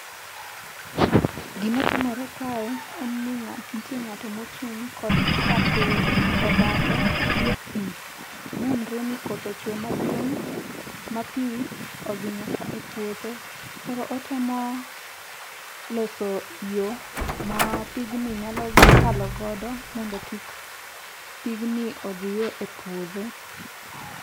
Gimatimore kae en ni nitie ng'ato mochung' kod rapur to bathe nitie pi. Nenre ni koth ochwe maduong' ma pi odhi nyaka e puothe. Koro otemo loso yo ma pigni nyalo kalo godo mondo kik pigni odhiye epuodhe.